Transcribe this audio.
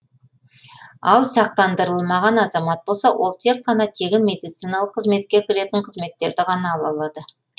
ал сақтандырылмаған азамат болса ол тек қана тегін медициналық қызметке кіретін қызметтерді ғана ала алады